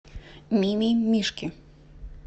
мимимишки